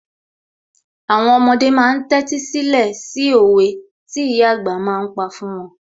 Àwọn ọmọdé ma ń tẹ́tí sílẹ̀ sí òwe tí ìyà àgbà ma ń pa fún wọn